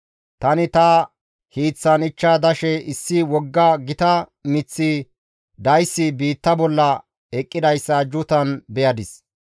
«Tani ta hiiththan ichcha dashe issi wogga gita miththi dayssi biitta bolla eqqidayssa ajjuutan beyadis.